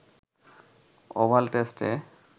oval টেস্টে